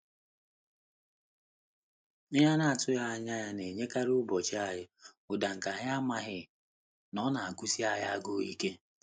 Ihe a na-atụghị anya ya na enyekarị ụbọchị anyị ụda nke anyị amaghị na ọ na-agụsi anyị agụụ ike.